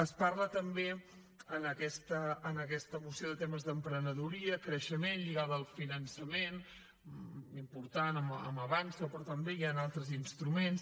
es parla també en aquesta moció de temes d’emprenedoria creixement lligada al finançament important amb avançsa però també hi han altres instruments